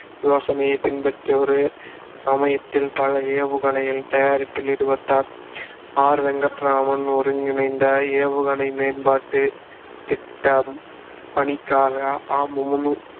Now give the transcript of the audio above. யோசனையைப் பின்பற்றி ஒரே சமயத்தில் பல ஏவுகணைகள் தயாரிப்பில் ஈடுபட்டார். ஆர் வெங்கட்ராமன் ஒருங்கிணைந்த ஏவுகணை மேம்பாட்டு திட்டப் பணிக்காக